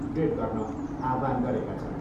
Upgrade गर्न आह्वान गरेका छन्।